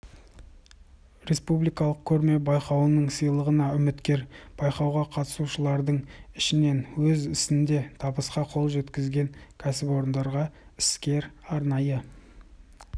республикалық көрме-байқауының сыйлығына үміткер байқауға қатысушылардың ішінен өз ісінде табысқа қол жеткізген кәсіпорындарға іскер арнайы